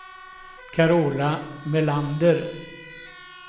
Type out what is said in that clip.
Carola Melander